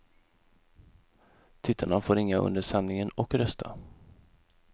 Tittarna får ringa under sändningen och rösta.